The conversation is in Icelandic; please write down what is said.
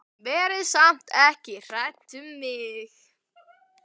Verið samt ekki hrædd um mig.